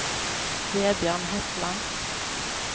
Vebjørn Hetland